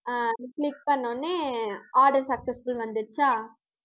அஹ் click பண்ணவுடனே, order successful வந்துடுச்சா